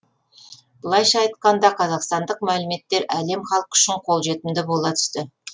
былайша айтқанда қазақстандық мәліметтер әлем халқы үшін қолжетімді бола түсті